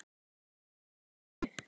Eigum við ekki bara að hafa það þannig?